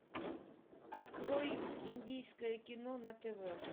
открой индийское кино на тв